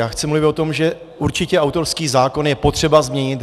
Já chci mluvit o tom, že určitě autorský zákon je potřeba změnit.